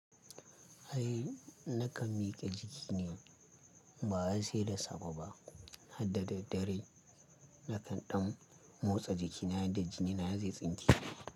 Ai, nakan miƙe jikina ba wai sai da safe ba, hadda daddare nakan ɗan motsa jikina yadda jinina zai tsinke.